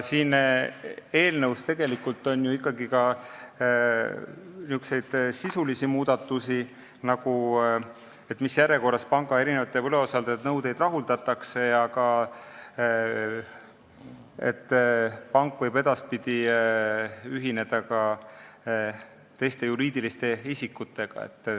Siin eelnõus on ju tegelikult ka sisulisi muudatusi, nagu see, mis järjekorras rahuldatakse panga võlausaldajate nõudeid, ja see, et pank võib edaspidi ühineda ka teiste juriidiliste isikutega.